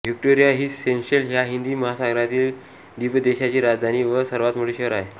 Victoria ही Seychelles ह्या हिंदी महासागरातील द्वीपदेशाची राजधानी व सर्वात मोठे शहर आहे